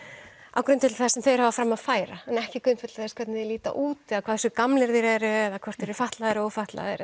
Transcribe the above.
á grundvelli þess sem þeir hafa fram að færa en ekki grundvelli þess hvernig þeir líta út eða hversu gamlir þeir eru eða hvort þeir eru fatlaðir eða ófatlaðir